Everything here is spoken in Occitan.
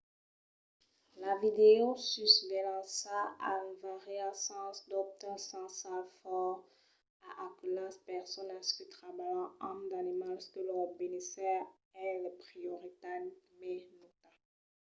"la videosusvelhança enviariá sens dobte un senhal fòrt a aquelas personas que trabalhan amb d'animals que lor benésser es la prioritat mai nauta.